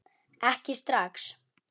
Ekki strax